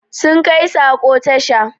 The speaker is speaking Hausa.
Sun kai sako tasha